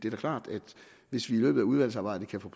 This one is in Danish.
er klart at hvis vi i løbet af udvalgsarbejdet kan få